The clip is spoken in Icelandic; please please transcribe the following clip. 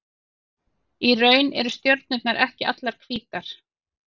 Í raun eru stjörnurnar ekki allar hvítar.